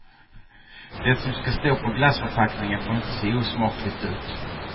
Det som ska stå på glassförpackningen får inte se osmakligt ut.